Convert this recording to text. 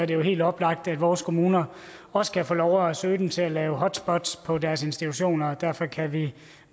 jo helt oplagt at vores kommuner også kan få lov at søge den til at lave hotspots på deres institutioner derfor kan vi